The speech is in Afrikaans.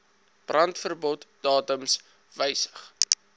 brandverbod datums wysig